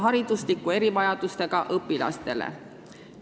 ... hariduslike erivajadustega õpilastele.